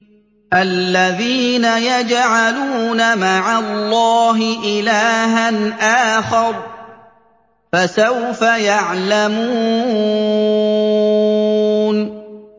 الَّذِينَ يَجْعَلُونَ مَعَ اللَّهِ إِلَٰهًا آخَرَ ۚ فَسَوْفَ يَعْلَمُونَ